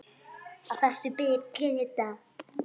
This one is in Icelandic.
Að þessu ber að gæta.